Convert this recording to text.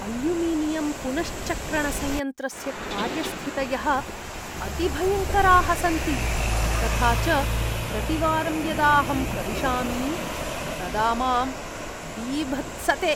Aluminium पुनश्चक्रणसंयन्त्रस्य कार्यस्थितयः अतिभयङ्कराः सन्ति, तथा च प्रतिवारं यदाहं प्रविशामि, तदा मां बीभत्सते।